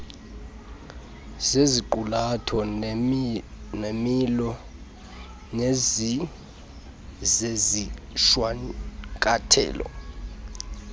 ngeziqulatho neemilo zezishwankathelo